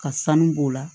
Ka sanu b'o la